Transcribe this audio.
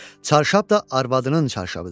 Çarşab da arvadının çarşabıdır.